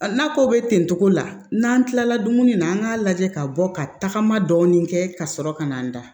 Na ko be ten cogo la n'an kilala dumuni na an k'a lajɛ ka bɔ ka tagama dɔɔni kɛ ka sɔrɔ ka na n'a da